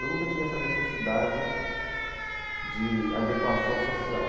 Eu nunca tive essa necessidade de adequação social.